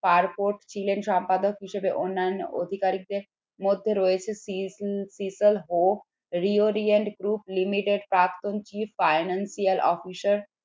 ছিলেন সম্পাদক হিসেবে অন্যান্য অধিকারীদের মধ্যে রয়েছে financial officer